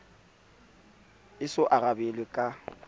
e so arabelwe ka ho